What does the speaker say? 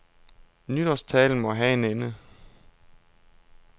Nytårstalen må have en ende.